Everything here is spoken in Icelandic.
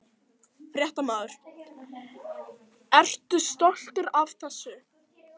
Fréttamaður: Ertu stoltur af þessu?